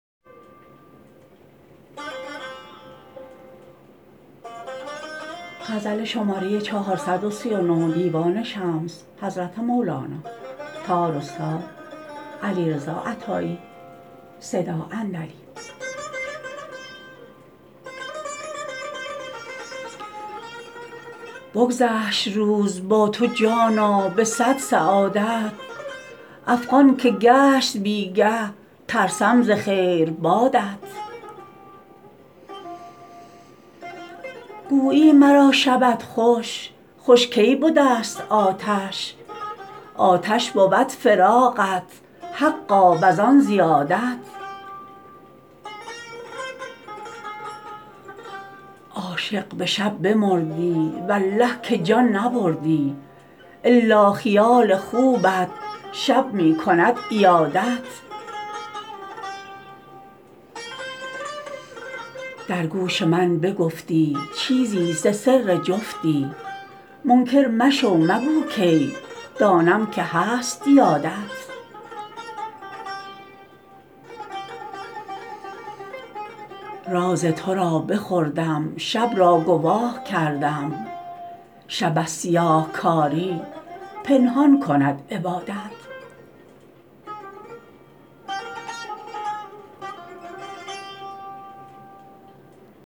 بگذشت روز با تو جانا به صد سعادت افغان که گشت بی گه ترسم ز خیربادت گویی مرا شبت خوش خوش کی به دست آتش آتش بود فراقت حقا و زان زیادت عاشق به شب بمردی والله که جان نبردی الا خیال خوبت شب می کند عیادت در گوش من بگفتی چیزی ز سر جفتی منکر مشو مگو کی دانم که هست یادت راز تو را بخوردم شب را گواه کردم شب از سیاه کاری پنهان کند عبادت